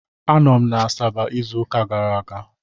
Anọ m na Asaba izu ụka gara aga.